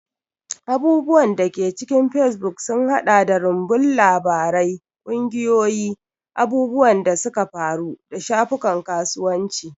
Abubuwan da ke cikin facebook sun haɗa da rumbun labarai, ƙungiyoyi, abubuwan da suka faru, da shafukan kasuwanci.